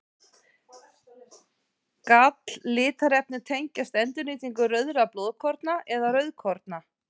Galllitarefni tengjast endurnýtingu rauðra blóðkorna eða rauðkorna.